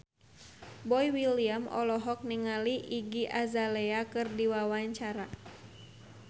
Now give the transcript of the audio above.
Boy William olohok ningali Iggy Azalea keur diwawancara